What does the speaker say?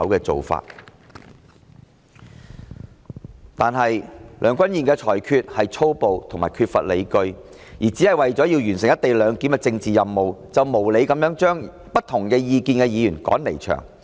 然而，梁君彥主席的裁決粗暴及缺乏理據，為了完成"一地兩檢"的政治任務，無理地把持不同意見的議員趕離場。